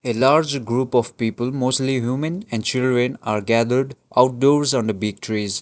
a large group of people mostly humen and children are gathered outdoors on the big trees.